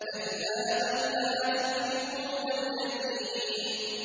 كَلَّا ۖ بَل لَّا تُكْرِمُونَ الْيَتِيمَ